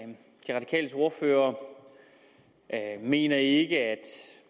de radikales ordfører mener ikke at